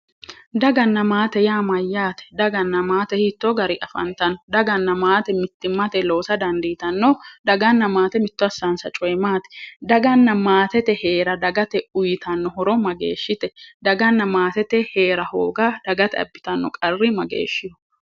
Daganna maate yaa mayyaate? Daganna maate hiittoo gari afantanno? Daganna maate mittimmate loosa dandiitanno? Daganna maate mitto assaansa cooyi maati? Daganna maatete heera dagate uuyitanno horo mageeshshite? Daganna maate heera hooga dagate abbitanno qarri mageeshshiho?